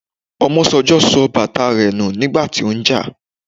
Omosanjo sọ bàtà rẹ nù nígbà tí ó ń jà